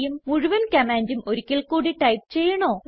മുഴുവൻ കമാൻഡും ഒരിക്കൽ കൂടി ടൈപ്പ് ചെയ്യണോ160